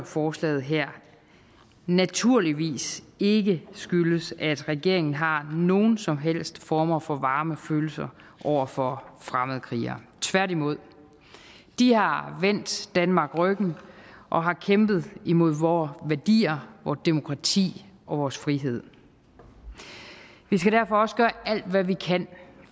forslag naturligvis ikke skyldes at regeringen har nogen som helst former for varme følelser over for fremmedkrigere tværtimod de har vendt danmark ryggen og har kæmpet imod vore værdier vort demokrati og vores frihed vi skal derfor også gøre alt hvad vi kan